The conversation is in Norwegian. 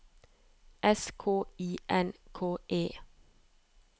S K I N K E